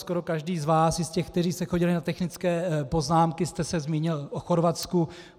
Skoro každý z vás, i z těch, kteří jste chodili na technické poznámky, jste se zmínil o Chorvatsku.